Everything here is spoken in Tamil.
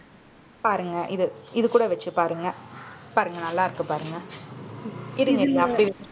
பாருங்க இது இது கூட வச்சு பாருங்க. பாருங்க நல்லாருக்கு பாருங்க. இருங்க இருங்க அப்பிடியே வச்~